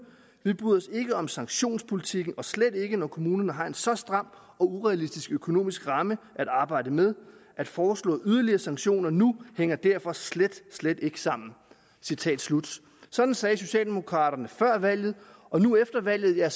vi bryder os ikke om sanktionspolitikken og slet ikke når kommunerne har en så stram og urealistisk økonomisk ramme at arbejde med at foreslå yderligere sanktioner nu hænger derfor slet slet ikke sammen sådan sagde socialdemokraterne før valget og nu efter valget er